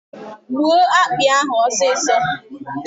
Gbuo akpị ahụ ọsịsọ!